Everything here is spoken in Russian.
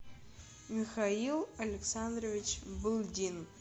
михаил александрович былдин